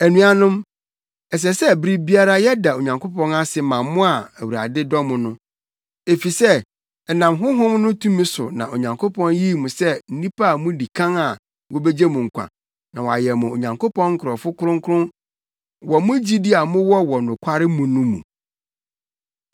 Anuanom, ɛsɛ sɛ bere biara yɛda Onyankopɔn ase ma mo a Awurade dɔ mo no. Efisɛ ɛnam Honhom no tumi so na Onyankopɔn yii mo sɛ nnipa a mudi kan a wobegye mo nkwa na wɔayɛ mo Onyankopɔn nkurɔfo kronkron wɔ mo gyidi a mowɔ wɔ nokware mu no mu.